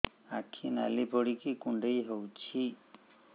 ଆଖି ନାଲି ପଡିକି କୁଣ୍ଡେଇ ହଉଛି